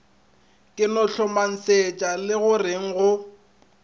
ka no hlomesetšwa legoreng go